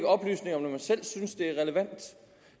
oplysninger når den selv synes det er relevant